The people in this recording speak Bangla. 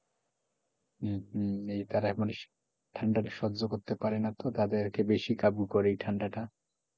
হম হম তারা এমনি ঠান্ডা সহ্য করতে পারেনা তো তাদের বেশি কাবু করে এই ঠান্ডাটা,